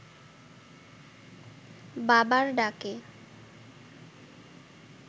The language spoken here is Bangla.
বাবার ডাকে